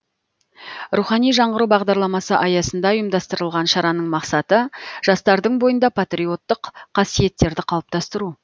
рухани жаңғыру бағдарламасы аясында ұйымдастырылған шараның мақсаты жастардың бойында патриоттық қасиеттерді қалыптастыру